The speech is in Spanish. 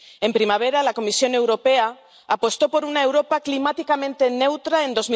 En primavera, la Comisión Europea apostó por una Europa climáticamente neutra en